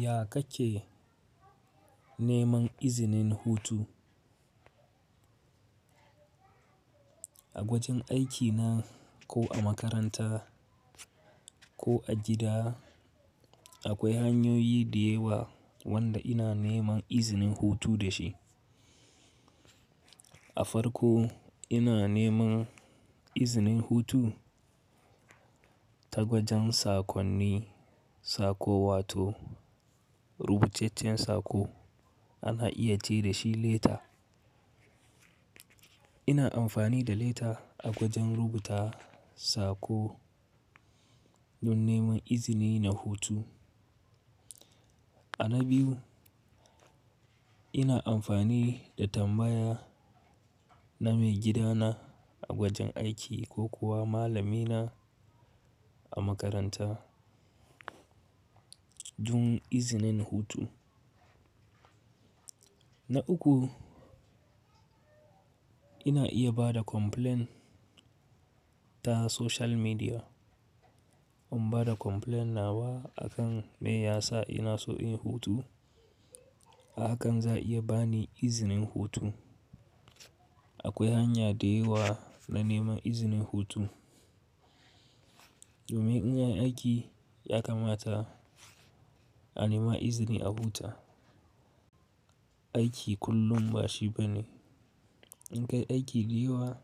Ya ka ke neman izinin hutu? A wajen aikina ko a makaranta ko a gida akwai hanyoyi da yawa wanda ina neman izinin hutu da shi. A farko ina neman izinin hutu ta gwajin saƙonni, saƙo wato rubucecen saƙo ana iya ce da shi leta. Ina amfani da leta a gwajin rubuta sako don neman izini na hutu. A na biyu ina amfani da tambaya na mai gidana a wajen aiki ko kuwa malamina a makaranta, dun izinin hutu. Na uku ina iya bada complain ta social media. In bada complain nawa akan me yasa ina so inyi hutu, a akan za a iya bani izinin hutu. Akwai hanya da yawa na neman izinin hutu. Domin in anyi aiki ya kamata a nema izini a huta. Aiki kullum ba shi bane. In ka yi aiki da yawa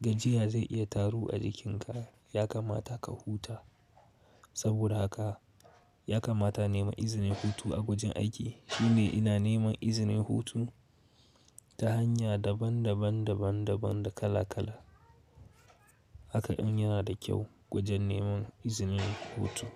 gajiya zai iya taru a jikinka ya kamata ka huta. Saboda haka ya kamata innema izinin hutu a wajen aiki. Shi ne ina neman izinin hutu ta hanya daban daban, daban daban da kala kala. Haka in yana da kyau gwajin neman izinin hutu.